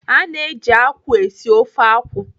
A na-eji akwụ esi ofe akwụ.